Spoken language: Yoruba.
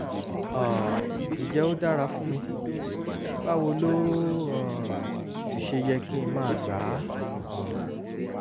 um ǹjẹ́ ó dára fún mi? báwo ló um sì ṣe yẹ kí n máa gbà á? um